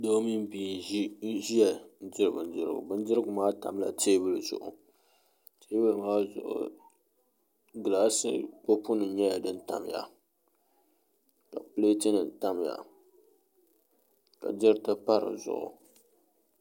Doo mini bia n ʒiya n diri bindirigu bindirigu. Maa tamla teebuli zuɣu teebuli maa zuɣu gilaas kopu nim nyɛla din tamya ka pileet nim tamya ka diriti pa dizuɣu